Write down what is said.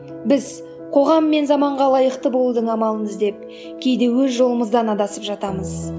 біз қоғам мен заманға лайықты болудың амалын іздеп кейде өз жолымыздан адасып жатамыз